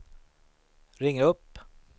ring upp